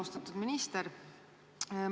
Austatud minister!